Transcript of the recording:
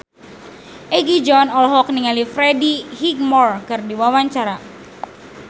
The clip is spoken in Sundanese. Egi John olohok ningali Freddie Highmore keur diwawancara